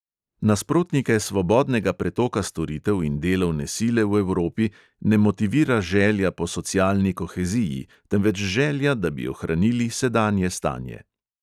Nasprotnike svobodnega pretoka storitev in delovne sile v evropi ne motivira želja po socialni koheziji, temveč želja, da bi ohranili sedanje stanje.